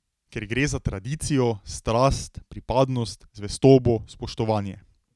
Ker gre za tradicijo, strast, pripadnost, zvestobo, spoštovanje.